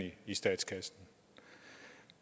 i statskassen